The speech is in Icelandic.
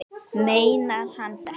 Meinar hann þetta?